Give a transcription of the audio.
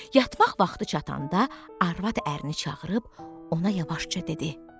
Yatmaq vaxtı çatanda arvad ərini çağırıb ona yavaşca dedi: